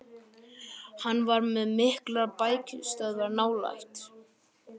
Hann var með miklar bækistöðvar nálægt